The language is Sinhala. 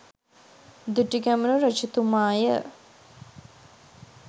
දුටුගැමුණු රජතුමාය.